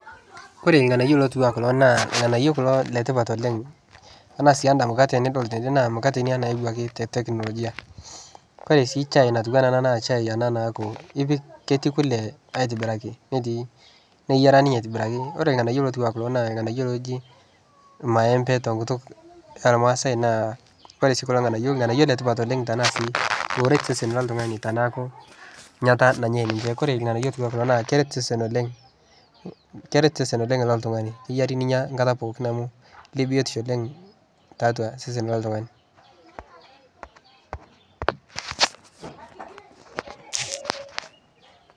Ore ilganayio otiu anaa kulo naa ilganayio kulo letipat oleng, ore sii enda kukate tenidol tende naa enukate inia nayawuaki te tekinologia. Ore sii shai natiu anaa ena naa shai ena naa ketii kule aitobiraki netii neyiara ninye aitobiraki. Ore ilganayio otiu anaa kulo naa ilganayio ooji ilmaempe tekutuk oormaasai naa ore kulo nganayioi naa ilganayio letipat kulo ooret osesen loltungani tenaaku enyata nanyai ninche. Ore ilganayio laijio kulo naa keret isesen oleng loltungani kenare ninya nkata pooki amu lebiotisho oleng tiatua osesen loltungani